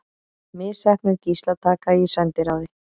Misheppnuð gíslataka í sendiráði